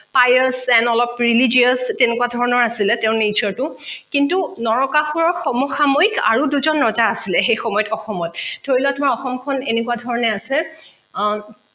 অলপ religious তেনেকুৱা ধৰণৰ আছিলে তেওঁ nature টো কিন্তু নৰকাসুৰৰ সমসাময়িক আৰু দুজন ৰজা আছিলে সেই সময়ত অসমত ধৰি লোৱা তোমাৰ অসমখন এনেকুৱা ধৰণে আছে আহ